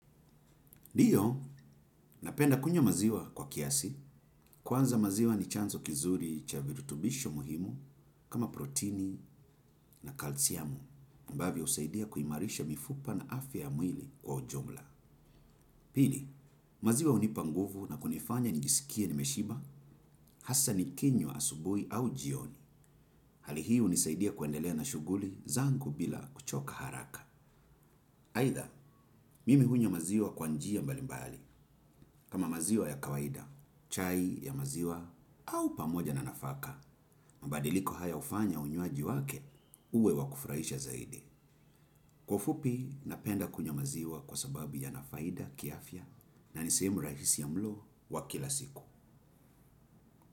Ndiyo, napenda kunywa maziwa kwa kiasi. Kwanza maziwa ni chanzo kizuri cha virutubisho muhimu kama protini na kalsiamu, ambavyo husaidia kuimarisha mifupa na afya ya mwili kwa ujumla. Pili, maziwa hunipa nguvu na kunifanya njisikie nimeshiba, hasa ni kinywa asubuhi au jioni. Hali hii hunisaidia kuendelea na shuguli zangu bila kuchoka haraka. Aidha, mimi hunywa maziwa kwa njia mbalimbali, kama maziwa ya kawaida, chai ya maziwa, au pamoja na nafaka, mabadiliko haya hufanya unywaji wake, uwe wa kufurahisha zaidi. Kwa ufupi, napenda kunywa maziwa kwa sababu yana faida, kiafya, na ni sehemu rahisi ya mlo wa kila siku.